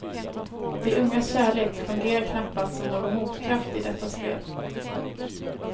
De ungas kärlek fungerar knappast som någon motkraft i detta spel.